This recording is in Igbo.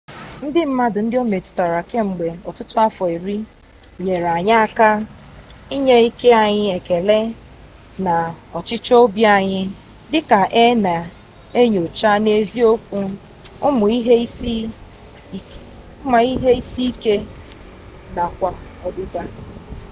ndị mmadụ ndị o metụtara kemgbe ọtụtụ afọ iri nyere anyị aka inye ike anyị ekele na ọchịchọ obi anyị dị ka a na-enyocha n'eziokwu ụmụ ihe isi ike nakwa ọdịda